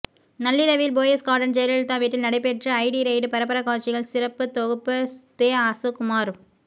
நள்ளிரவில் போயஸ் கார்டன் ஜெயலலிதா வீட்டில் நடைபெற்ற ஐடி ரெய்டு பரபர காட்சிகள் சிறப்பு தொகுப்பு தேஅசோக்குமார்